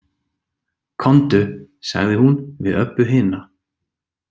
Komdu, sagði hún við Öbbu hina.